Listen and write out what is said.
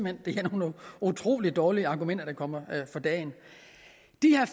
at det er nogle utrolig dårlige argumenter der kommer for dagen